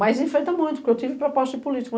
Mas enfrento muito, porque eu tive proposta de político.